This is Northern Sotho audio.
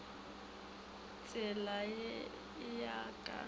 tshela go e ya ka